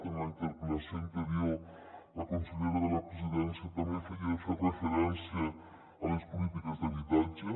en la interpel·lació anterior la consellera de la presidència també feia refe·rència a les polítiques d’habitatge